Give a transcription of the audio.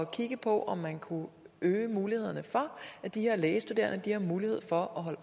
kigge på om man kunne øge mulighederne for at de her lægestuderende har mulighed for at holde